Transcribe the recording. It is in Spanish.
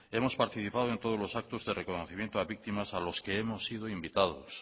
hemos participado en todos los actos de reconocimiento a víctimas a los hemos sido invitados